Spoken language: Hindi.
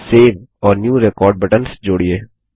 सेव और न्यू रेकॉर्ड बटन्स जोड़िए